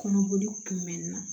Kɔnɔboli kun bɛ n na